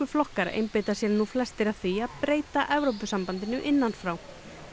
flokkar einbeita sér nú flestir að því að breyta Evrópusambandinu innan frá